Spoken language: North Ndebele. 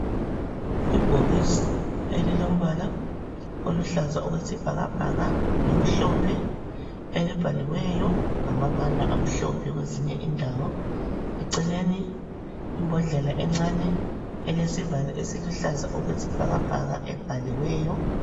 Ibhokisi elilombala oluhlaza okwesibhakabhaka lomhlophe elibhaliweyo ngamabala amhlophe kwezinye indawo, eceleni imbodlela encane elesivalo esiluhlaza okwesibhakabhaka ebhaliweyo.